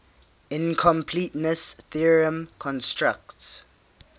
incompleteness theorem constructs